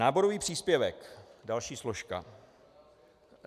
Náborový příspěvek, další složka.